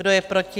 Kdo je proti?